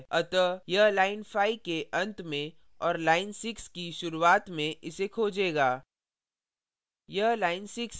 अतः यह line 5 के अंत में और line 6 की शुरुआत में इसे खोजेगा